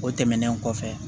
O tɛmɛnen kɔfɛ